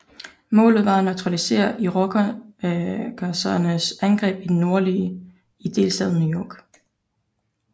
Målet var at neutralisere irokesernes angreb i det nordlige i delstaten New York